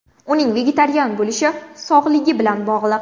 Uning vegetarian bo‘lishi sog‘ligi bilan bog‘liq.